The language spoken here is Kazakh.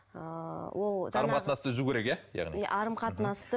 ыыы ол қарым қатынасты үзу керек иә яғни